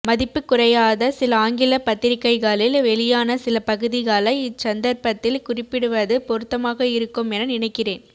மதிப்புக்குறையாத சில ஆங்கில பத்திரிகைகளில் வெளியான சில பகுதிகளை இச்சந்தர்ப்பத்தில் குறிப்பிடுவது பொருத்தமாக இருக்குமென நினைக்கிறேன்